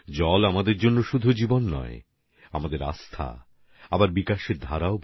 জল আমাদের জন্য জীবন আস্থার অপর নাম আবার বিকাশের ধারাও